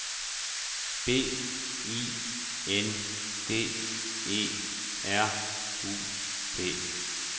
B I N D E R U P